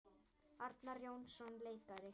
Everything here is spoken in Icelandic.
Arnar Jónsson leikari